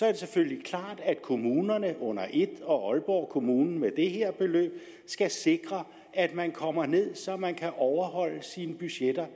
er det selvfølgelig klart at kommunerne under et og aalborg kommune med det her beløb skal sikre at man kommer ned så man kan overholde sine budgetter